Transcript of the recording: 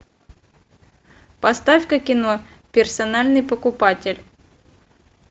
поставь ка кино персональный покупатель